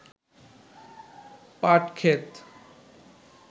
পাট ক্ষেত